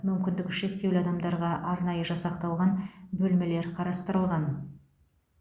мүмкіндігі шектеулі адамдарға арнайы жасақталған бөлмелер қарастырылған